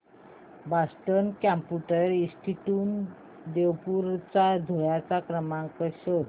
Boston computer institute Devpur Dhule चा संपर्क क्रमांक शोध